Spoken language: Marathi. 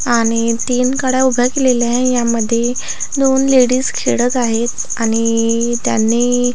आणि तीन गाड्या उभ्या केलेल्या आहे यामध्ये दोन लेडीज खेळत आहेत आणि त्यांनी--